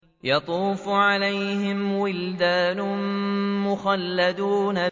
يَطُوفُ عَلَيْهِمْ وِلْدَانٌ مُّخَلَّدُونَ